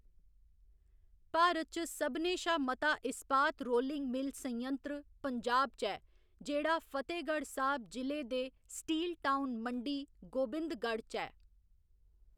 भारत च सभनें शा मता इस्पात रोलिंग मिल्ल संयंत्र पंजाब च ऐ, जेह्‌‌ड़ा फतेहगढ़ साहब जि'ले दे 'स्टील टाउन' मंडी गोबिंदगढ़ च ऐ।